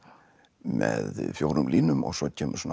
með fjórum línum og svo kemur svona